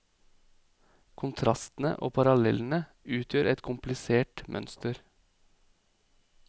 Kontrastene og parallellene utgjør et komplisert mønster.